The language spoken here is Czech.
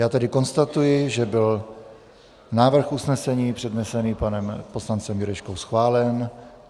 Já tedy konstatuji, že byl návrh usnesení přednesený panem poslancem Jurečkou schválen.